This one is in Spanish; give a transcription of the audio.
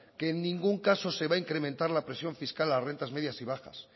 que en ningún caso se va a incrementar la presión fiscal a las rentas medias y bajas